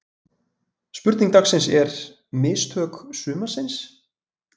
Spurning dagsins er: Mistök sumarsins?